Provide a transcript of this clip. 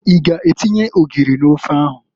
I g'atinye ogiri n'ofe ahụ?